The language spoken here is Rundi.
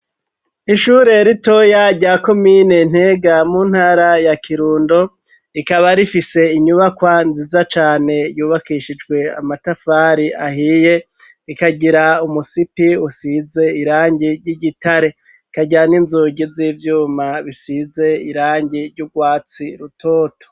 Ishure ritoya rya komine Ntega mu ntara ya Kirundo rikaba rifise inyubakwa nziza cane yubakishijwe amatafari ahiye rikagira umusipi usize irangi ry'igitare rikagira n'inzugi z'ivyuma bisize irangi ry'urwatsi rutoto